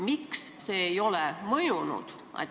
Miks see ei ole mõjunud?